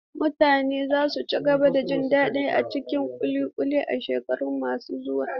Mutane za su cigaba da jin daɗin cin ƙuli ƙuli a shekaru masu zuwa.